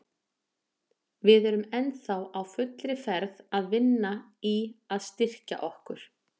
Við erum ennþá á fullri ferð að vinna í að styrkja okkur.